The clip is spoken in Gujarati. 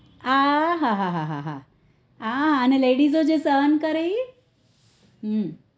આ હા હા આ અને ladies જો સહન કરે એ હમમ